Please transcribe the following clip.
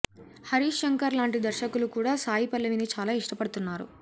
హరీష్ శంకర్ లాంటి దర్శకులు కూడా సాయి పల్లవిని చాలా ఇష్టపడుతున్నారు